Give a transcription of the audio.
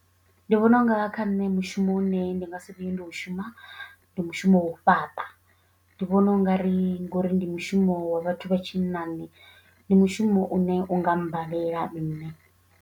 Ndi vhona u nga kha nṋe mushumo u ne ndi nga si vhuye ndi u shuma ndi mushumo wa u fhaṱa ndi vhona u nga ri ngori ndi mushumo wa vhathu vha tshinnani ndi mushumo une u nga mbalela nṋe.